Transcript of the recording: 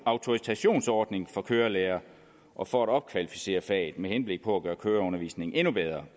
autorisationsordning for kørelærere og for at opkvalificere faget med henblik på at gøre køreundervisningen endnu bedre